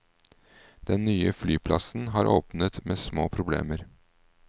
Den nye flyplassen har åpnet med små problemer.